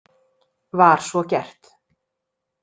Var svo gert.